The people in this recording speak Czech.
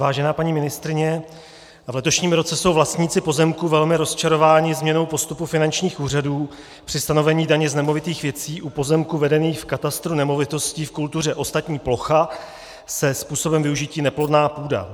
Vážená paní ministryně, v letošním roce jsou vlastníci pozemků velmi rozčarováni změnou postupu finančních úřadů při stanovení daně z nemovitých věcí u pozemků vedených v katastru nemovitostí v kultuře ostatní plocha se způsobem využití neplodná půda.